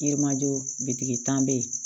Yirimajɔ bitiki tan bɛ yen